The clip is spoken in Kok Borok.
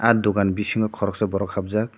ah dogan bisingo koroksa borok habjak.